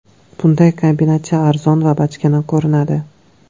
Bunday kombinatsiya arzon va bachkana ko‘rinadi.